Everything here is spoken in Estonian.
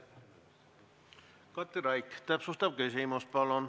Katri Raik, täpsustav küsimus, palun!